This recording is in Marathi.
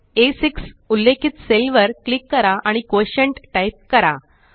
आ6 उल्लेखित सेल वर क्लिक करा आणि कोटिएंट टाइप करा